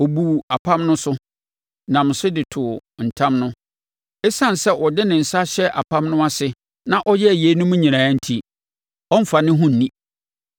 Ɔbuu apam no so, nam so de too ntam no. Esiane sɛ ɔde ne nsa ahyɛ apam no ase na ɔyɛɛ yeinom nyinaa enti, ɔremfa ne ho nni.